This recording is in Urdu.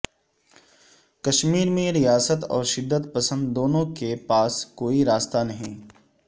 کشمیر میں ریاست اور شدت پسند دونوں کے پاس کوئی راستہ نہیں